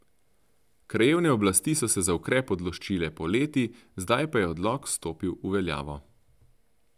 Krajevne oblasti so se za ukrep odločile poleti, zdaj pa je odlok stopil v veljavo.